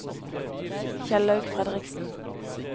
Kjellaug Fredriksen